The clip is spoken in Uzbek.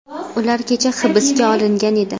Ular kecha hibsga olingan edi.